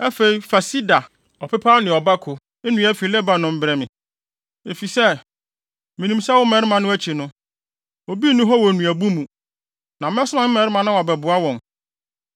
“Afei, fa sida, ɔpepaw ne ɔbako nnua fi Lebanon brɛ me, efisɛ, minim sɛ wo mmarima no akyi no, obi nni hɔ wɔ nnuabu mu; na mɛsoma me mmarima na wɔabɛboa wɔn.